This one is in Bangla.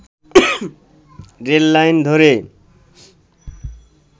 রেল লাইন ধরে